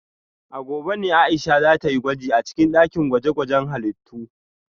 A gobe ne Aisha za ta yi gwaji a dakin gwaje-gwajen halittu